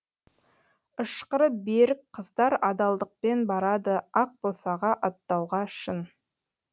ышқыры берік қыздар адалдықпен барады ақ босаға аттауға шын